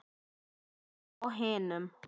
Heimili á hinum.